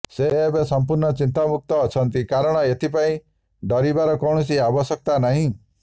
ସେ ଏବେ ସମ୍ପୂର୍ଣ୍ଣ ଚିନ୍ତାମୁକ୍ତ ଅଛନ୍ତି କାରଣ ଏଥିପାଇଁ ଡରିବାର କୌଣସି ଆବଶ୍ୟକତା ନାହିଁ